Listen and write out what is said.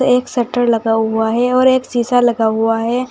एक शटर लगा हुआ है और एक शीशा लगा हुआ है।